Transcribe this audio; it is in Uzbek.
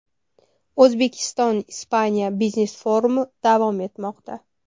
O‘zbekiston Ispaniya biznes-forumi davom etmoqda.